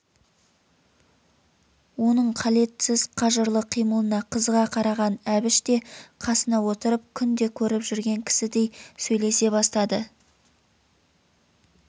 оның қалетсіз қажырлы қимылына қызыға қараған әбіш те қасына отырып күнде көріп жүрген кісідей сөйлесе бастады